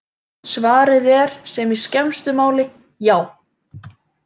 Svarið er í sem skemmstu máli: Já!